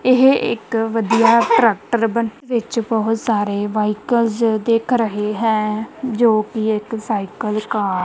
ਇਹ ਇੱਕ ਵਧੀਆ ਟ੍ਰੈਕਟਰ ਬ ਵਿੱਚ ਬਹੁਤ ਸਾਰੇ ਵਾਇਕਲਜ਼ ਦਿੱਖ ਰਹੇ ਹੈਂ ਜੋਕਿ ਇੱਕ ਸਾਈਕਲ ਕਾ--